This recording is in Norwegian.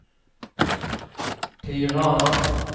Tirana